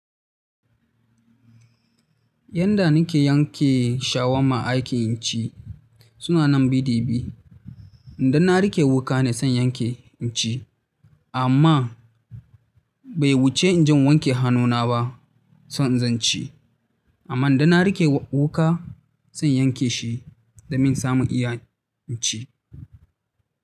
Yanda nike yanke shawama aikin ci suna nan bi da bi. Idan na riƙe wuƙane sai yanke inci. Amma, bai wuce inje in wanke hannuna ba, sai inzo inci. Amma idanna riƙe wuƙa sai inyanke shi domin samun iya inci.